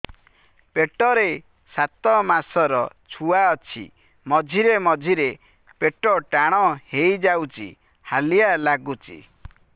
ପେଟ ରେ ସାତମାସର ଛୁଆ ଅଛି ମଝିରେ ମଝିରେ ପେଟ ଟାଣ ହେଇଯାଉଚି ହାଲିଆ ଲାଗୁଚି